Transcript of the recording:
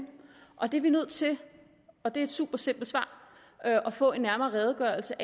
og det er vi nødt til og det er et super simpelt svar at få en nærmere redegørelse